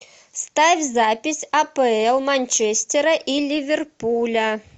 ставь запись апл манчестера и ливерпуля